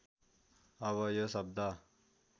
अब यो शब्द